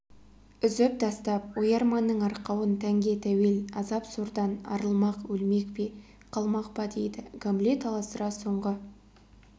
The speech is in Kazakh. үзіп тастап ой-арманның арқауын тәнге тәуел азап-сордан арылмақ өлмек пе қалмақ па дейді гамлет аласұра соңғы